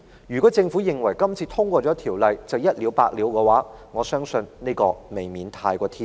如果政府認為《條例草案》通過便可以一了百了，我相信這未免過於天真。